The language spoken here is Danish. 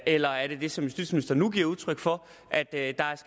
eller er det det som justitsministeren nu giver udtryk for at